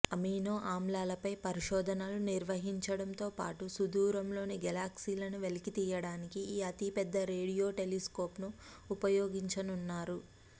amino ఆమ్లాలపై పరిశోధనలు నిర్వహించడంతో పాటు సుదూరంలోని గెలాక్సీలను వెలికితీయడానికి ఈ అతిపెద్ద రేడియో టెలిస్కోప్ను ఉపయోగించనున్నారు